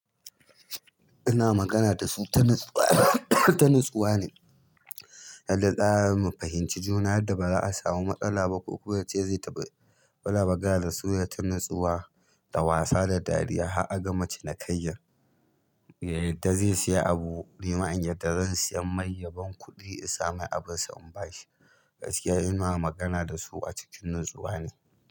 Ina magana da su, ta natsuwa, ta mutuwa ne. Yadda za mu fahimci juna, yadda ba za a samu matsala ba ko kuwa yace zai tafi, muna magana da su ta natsuwa, da wasa da dariya. Har a gama cinikayyan, yadda zai saya abu, ni in yadda zan siya mai yaban kuɗi in sa mai abin sa in ba shi. Gaskiya ina magana da su a cikin natsuwa ne.